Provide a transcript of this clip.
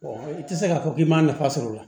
i tɛ se k'a fɔ k'i ma nafa sɔrɔ o la